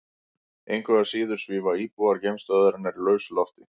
Engu að síður svífa íbúar geimstöðvarinnar í lausu lofti.